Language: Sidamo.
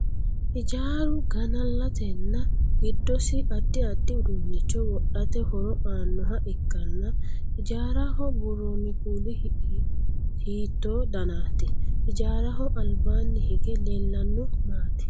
Hijaaru ganalatenna gidosi addi addi uduunicho wodhate horo aanoha ikanna hijaaraho buuroonni kuuli hiitto dannati? Hijaaraho albaanni hige leellano maati?